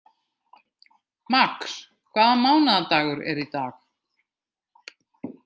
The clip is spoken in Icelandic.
Max, hvaða mánaðardagur er í dag?